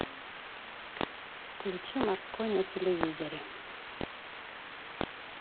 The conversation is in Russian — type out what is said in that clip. включи морской на телевизоре